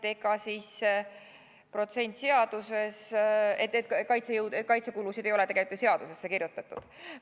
Te ise ütlesite ka seda, et kaitsekulude protsenti ei ole tegelikult ju seadusesse kirjutatud.